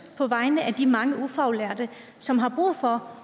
på vegne af de mange ufaglærte som har brug for